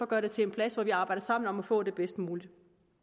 gøre det til en plads hvor vi arbejder sammen om at få det bedst mulige